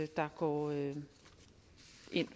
der går ind